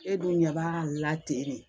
E dun ɲɛ b'a la ten de